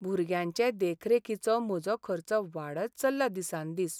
भुरग्यांचे देखरेखीचो म्हजो खर्च वाडत चल्ला दिसान दीस.